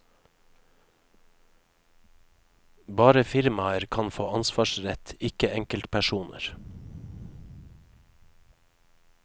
Bare firmaer kan få ansvarsrett, ikke enkeltpersoner.